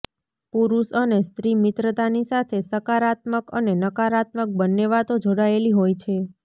પુરૂષ અને સ્ત્રી મિત્રતાની સાથે સકારાત્મક અને નકારાત્મક બંને વાતો જોડાયેલી હોય છે